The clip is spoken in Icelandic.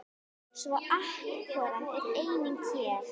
Svo atorkan er einnig hér.